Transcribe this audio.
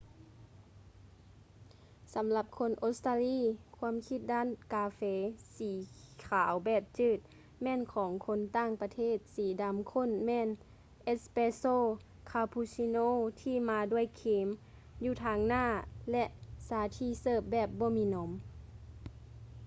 ສຳລັບຄົນອົດສະຕາລີ ຄວາມຄິດດ້ານກາເຟ ສີຂາວແບບຈືດ” ແມ່ນຂອງຄົນຕ່າງປະເທດ. ສີດໍາຂົ້ນແມ່ນ ເອສແປສໂຊ” ຄາປູຊິໂນທີ່ມາດ້ວຍຄຣີມ ຢູ່ທາງໜ້າ ແລະ ຊາທີ່ເສີບແບບບໍ່ມີນົມ